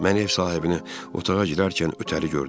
Mən ev sahibini otağa girərkən ötəri gördüm.